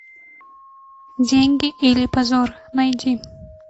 деньги или позор найди